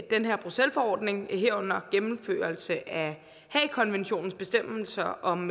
den her bruxelles forordning herunder gennemførelse af haagerkonventionens bestemmelser om